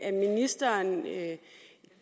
at ministeren